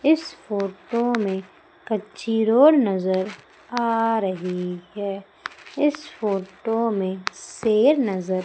इस फोटो में कच्ची रोड नजर आ रही है इस फोटो में शेर नजर --